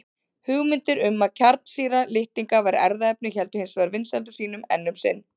Hugmyndir um að kjarnsýra litninga væri erfðaefni héldu hins vegar vinsældum sínum enn um sinn.